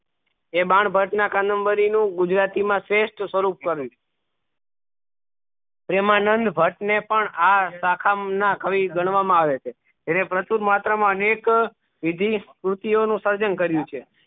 એ બાણભટ્ટ ના એકા નંબરી નું ગુજરાતી મા શ્રેષ્ઠ સ્વરૂપ પડ્યું પ્રેમાંનાદ ભટ્ટ પણ આ શાખા ના કવિ ગણવા માં આવે છે તેને પ્રચુર માત્રા મા અનેક વિધિ શ્રુતીયો નું સર્જન કર્યું છે